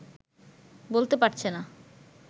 বলতে পারছে না